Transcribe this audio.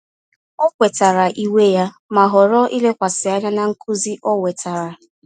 Ọ kwetara iwe ya, ma họrọ ilekwasị anya na nkuzi ọ wetara.